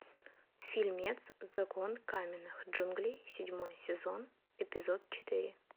фильмец закон каменных джунглей седьмой сезон эпизод четыре